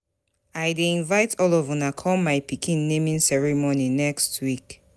I dey invite all of una come my pikin naming ceremony next week